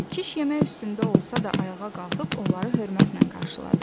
Kiş yemək üstündə olsa da, ayağa qalxıb onları hörmətlə qarşıladı.